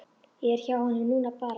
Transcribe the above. Ég er hjá honum núna bara.